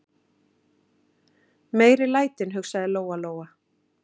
Meiri lætin, hugsaði Lóa-Lóa.